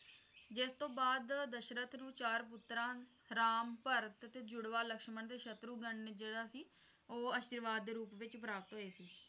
ਜਿਸਤੋਂ ਬਾਅਦ ਦਸ਼ਰਥ ਨੂੰ ਚਾਰ ਪੁੱਤਰਾਂ ਰਾਮ ਭਾਰਤ ਜੁੜਵਾ ਲਕਸ਼ਮ ਤੇ ਸ਼ਤਰੁਘਨ ਜਿਹੜਾ ਸੀ ਉਹ ਅਸ਼ੀਰਵਾਦ ਦੇ ਰੂਪ ਵਿੱਚ ਪ੍ਰਾਪਤ ਹੋਏ ਸੀ